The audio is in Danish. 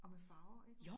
Og med farver ik?